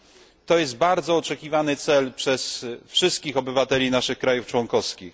Jest to cel bardzo oczekiwany przez wszystkich obywateli naszych krajów członkowskich.